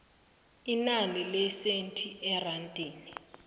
inani lesenthi erandini